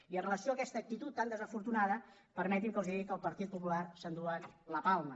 i amb relació a aquesta actitud tan desafortunada permetin me que els digui que el partit popular s’enduen la palma